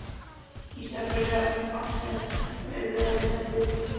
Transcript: Ísafirði þar sem Axel er veðurtepptur.